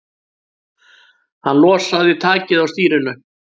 Hann losaði takið á stýrinu.